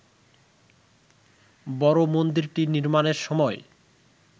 বড় মন্দিরটি নির্মাণের সময়